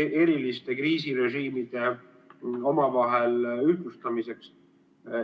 eriliste kriisirežiimide omavahel ühtlustamiseks.